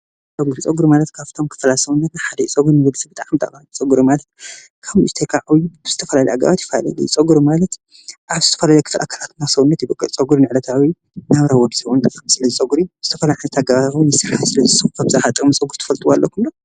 ፀጉሪ ኣብ ሂወታውያን ሰውነት መሸፈኒ ኮይኑ መልክዕን ፅባቀን ይገልፅ።